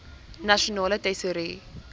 nasionale tesourie